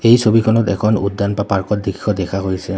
এই ছবিখনত এখন উদ্যান বা পাৰ্কৰ দৃশ্য দেখা হৈছে।